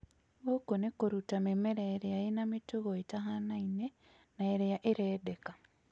Gũkũ nĩ kũruta mĩmera ĩrĩa ĩna mĩtugo ĩtahanaine na ĩrĩa ĩrendeka